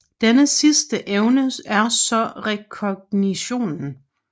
Denne sidste evne er så rekognitionen